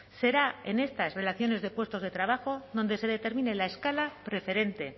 será en estas relaciones de puestos de trabajo donde se determine la escala preferente